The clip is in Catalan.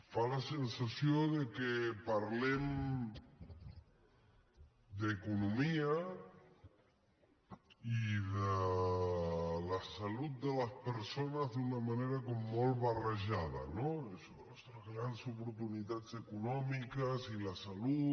fa la sensació que parlem d’economia i de la salut de les persones d’una manera com molt barrejada no això grans oportunitats econòmiques i la salut